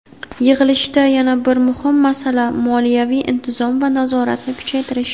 Yig‘ilishda yana bir muhim masala – moliyaviy intizom va nazoratni kuchaytirish.